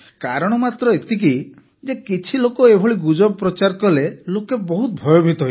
କାରଣ ମାତ୍ର ଏତିକି ଯେ କିଛି ଲୋକ ଏଭଳି ଗୁଜବ ପ୍ରଚାର କଲେ ଲୋକେ ବହୁତ ଭୟଭୀତ ହୋଇଗଲେ